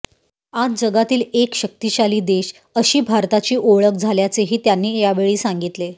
आज जगातील एक शक्तिशाली देश अशी भारताची ओळख झाल्याचेही त्यांनी यावेळी सांगितले